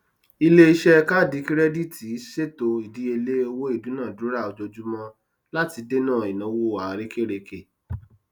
iléiṣẹ káàdì kirẹdìtì ṣètò ìdíyelé owó ìdunadura ojoojúmọ láti dènà ináwó àrekèrèke